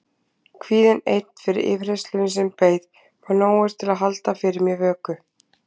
Kvíðinn einn fyrir yfirheyrslunni sem beið var nógur til að halda fyrir mér vöku.